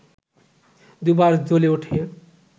দুবার জ্বলে উঠে